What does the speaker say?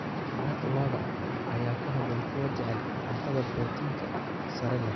Maraq lo'da ayaa ku habboon kuwa jecel cunto borotiinka sare leh.